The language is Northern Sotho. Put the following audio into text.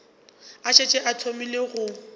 a šetše a thomile go